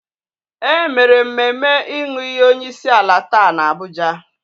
E mere mmemme ịnụ iyi onyeisiala taa n'Abuja.